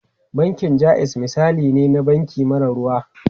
Bankin Jaiz misali ne na banki mara ruwa.